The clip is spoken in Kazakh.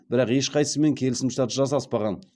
бірақ ешқайсымен келісімшарт жасаспаған